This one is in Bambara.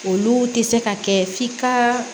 Olu tɛ se ka kɛ f'i ka